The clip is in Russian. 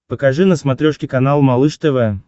покажи на смотрешке канал малыш тв